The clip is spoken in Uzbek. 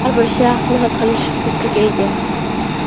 har bir shaxs mehnat qilish huquqiga ega.